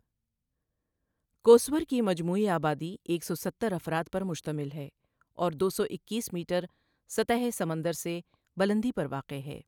کؤسؤر کی مجموعی آبادی ایک سو ستر افراد پر مشتمل ہے اور دو سو اکیس میٹر سطح سمندر سے بلندی پر واقع ہے۔